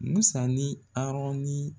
Musa ni Arɔn ni